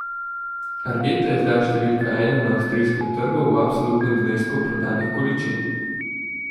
Argeta je zdaj številka ena na avstrijskem trgu v absolutnem znesku prodanih količin.